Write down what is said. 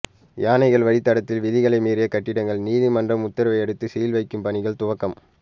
யானைகள் வழித்தடத்தில் விதிமுறை மீறிய கட்டிடங்கள் நீதிமன்ற உத்தரவையடுத்து சீல்வைக்கும் பணிகள் துவக்கம்